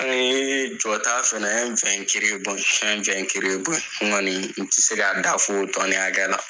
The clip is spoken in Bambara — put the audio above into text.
An ye jɔta fɛnɛ, an ye an ye n kɔni n tɛ se ka da fɔ o tɔni hakɛya la.